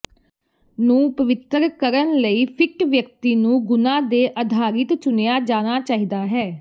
ਨੂੰ ਪਵਿੱਤਰ ਕਰਨ ਲਈ ਫਿੱਟ ਵਿਅਕਤੀ ਨੂੰ ਗੁਣਾ ਤੇ ਅਧਾਰਿਤ ਚੁਣਿਆ ਜਾਣਾ ਚਾਹੀਦਾ ਹੈ